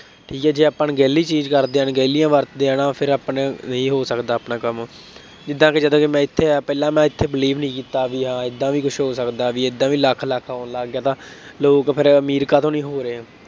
ਠੀਕ ਹੈ ਜੇ ਆਪਾਂ ਅਣਗਹਿਲੀ ਚੀਜ਼ ਕਰਦੇ ਹਾਂ, ਅਣਗਹਿਲੀਆਂ ਵਰਤਦੇ ਹਾਂ, ਹੈ ਨਾ, ਫੇਰ ਆਪਣੇ, ਨਹੀਂ ਹੋ ਸਕਦਾ ਆਪਣਾ ਕੰਮ, ਜਿਦਾਂ ਕਿ ਜਦੋਂ ਮੈਂ ਇੱਥੇ ਆਇਆ ਪਹਿਲਾ ਮੈਂ ਇੱਥੇ believe ਨਹੀਂ ਕੀਤਾ ਬਈ ਹਾਂ ਏਦਾਂ ਵੀ ਕੁੱਛ ਹੋ ਸਕਦਾ, ਬਈ ਏਦਾਂ ਵੀ ਲੱਖ ਲੱਖ ਆਉਣ ਲੱਗ ਗਿਆ ਤਾਂ ਲੋਕ ਫੇਰ ਅਮੀਰ ਕਾਹਤੋ ਨਹੀਂ ਹੋ ਰਹੇ।